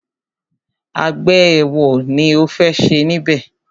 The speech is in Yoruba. Àgbẹ̀ ẹ̀wo ni o fẹ́ ṣe níbẹ̀?